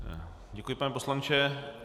Děkuji, pane poslanče.